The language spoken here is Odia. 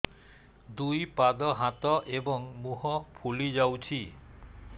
ଦୁଇ ପାଦ ହାତ ଏବଂ ମୁହଁ ଫୁଲି ଯାଉଛି